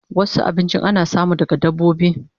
Wasu abinchin ana samu daga dabbobi